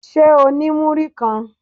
Ṣé o ní múrí kan?